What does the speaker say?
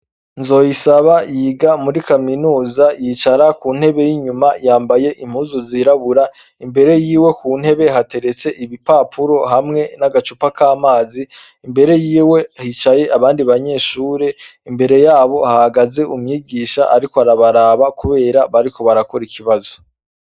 Nzoyisaba yiga muri kaminuza yicara kuntebe y inyuma yambay' impuzu zirabura, imbere yiwe kuntebe haterets igipapuro hamwe nagacupa k amazi, imbere yiwe hicaye abandi banyeshure, imbere yabo hahagaze umwigisha arik' arabaraba kubera barigukor' ikibazo.